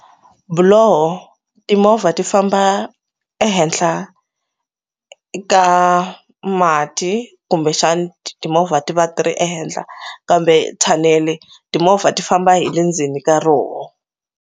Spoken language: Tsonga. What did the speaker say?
Buloho timovha ti famba ehenhla ka mati kumbexani timovha ti va ti ri ehenhla kambe thanele timovha ti famba hi le ndzeni ka roho.